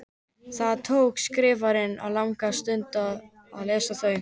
Það tók Skrifarann ekki langa stund að lesa þau.